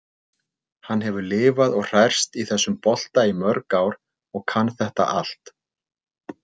Hann hefur lifað og hrærst í þessum bolta í mörg ár og kann þetta allt.